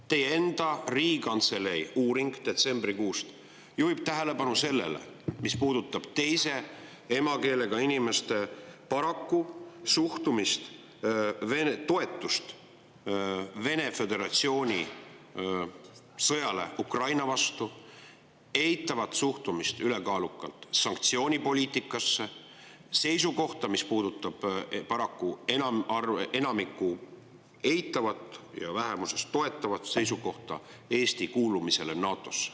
Teie enda Riigikantselei uuring detsembrikuust juhib tähelepanu sellele, mis puudutab teise emakeelega inimeste toetust Venemaa Föderatsiooni sõjale Ukraina vastu, ülekaalukalt eitavat suhtumist sanktsioonipoliitikasse ning paraku enamiku eitavat ja vähemiku toetavat seisukohta Eesti kuulumisele NATO-sse.